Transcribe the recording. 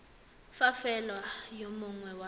fa fela yo mongwe wa